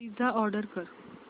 pizza order कर